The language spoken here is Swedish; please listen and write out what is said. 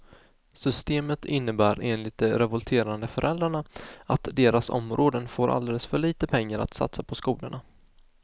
Systemet innebär enligt de revolterande föräldrarna att deras områden får alldeles för lite pengar att satsa på skolorna.